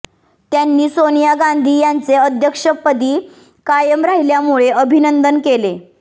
त्यांनी सोनिया गांधी यांचे अध्यक्षपदी कायम राहिल्यामुळे अभिनंदन केले